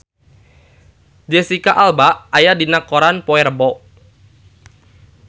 Jesicca Alba aya dina koran poe Rebo